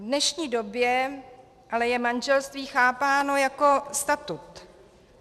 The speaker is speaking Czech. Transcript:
V dnešní době ale je manželství chápáno jako statut.